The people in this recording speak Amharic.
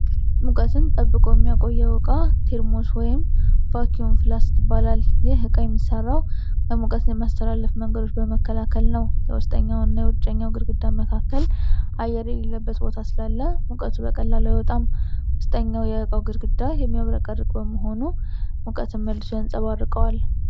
ሙቀትን ጠብቆ የሚያቆየው ዕቃ ቴርሞስ ወይም ቫክዩም ፍላስክ ይባላል። ይህ ዕቃ የሚሰራው የሙቀት መተላለፍ መንገዶችን በመከላከል ነው። በውስጠኛውና በውጭኛው ግድግዳ መካከል አየር የሌለበት ቦታ ስላለ ሙቀት በቀላሉ አይወጣም። ውስጠኛው የዕቃው ግድግዳ የሚያብረቀርቅ በመሆኑ ሙቀትን መልሶ ያንጸባርቀዋል።